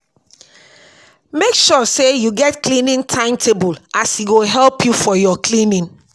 mek sure say yu get cleaning time-table as e go help yu for yur cleaning